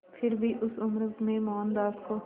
फिर भी उस उम्र में मोहनदास को